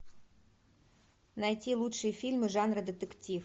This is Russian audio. найти лучшие фильмы жанра детектив